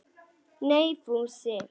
Nei, Fúsi.